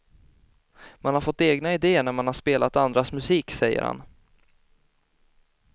Man har fått egna idéer när man har spelat andras musik, säger han.